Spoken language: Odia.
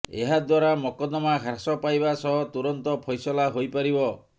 ଏହାଦ୍ୱାରା ମକଦ୍ଦମା ହ୍ରାସ ପାଇବା ସହ ତୁରନ୍ତ ଫଇସଲା ହୋଇପାରିବ